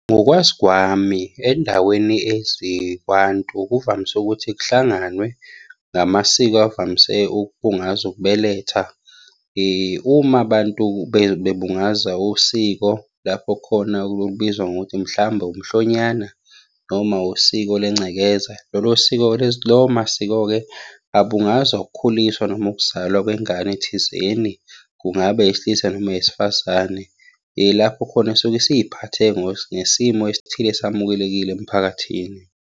Ngokwazi kwami, endaweni ezikwantu kuvamise ukuthi kuhlanganwe ngamasiko avamise ukubungaza ukubeletha. Uma abantu bebungaza usiko, lapho khona kubizwa ngokuthi mhlawumbe umhlonyana, noma usiko lencekeza, lolo siko-ke, lawo masiko-ke abungaza ukukhuliswa noma ukuzalwa kwengane thizeni. Kungabe eyesilisa noma eyesifazane. Yilapho khona esuke isiy'phathe ngesimo esithile esamukelekile emphakathini.